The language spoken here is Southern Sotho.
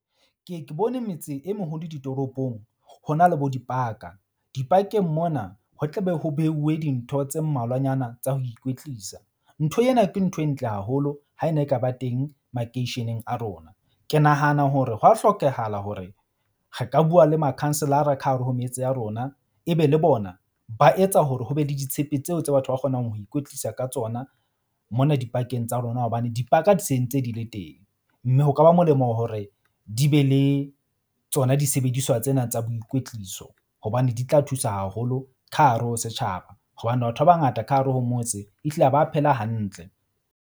Ke ye ke bone metse e mohodu ditoropong, ho na le bo dipaka. Dipakeng mona ho tla be ho beuwe dintho tse mmalwanyana tsa ho ikwetlisa. Ntho ena ke ntho e ntle haholo ha e ne e ka ba teng makeisheneng a rona. Ke nahana hore hwa hlokehala hore re ka bua le makhanselara ka hare ho metse ya rona. E be le bona ba etsa hore ho be le ditshepe tseo tse batho ba kgonang ho ikwetlisa ka tsona mona dipakeng tsa rona. Hobane dipaka di sentse di le teng. Mme ho ka ba molemo hore di be le tsona disebediswa tsena tsa boikwetliso hobane di tla thusa haholo ka hare ho setjhaba. Hobane batho ba bangata ka hare ho motse ehlile ha ba phela hantle.